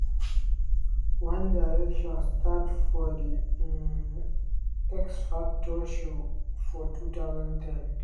one direction start for di um x factor show for 2010.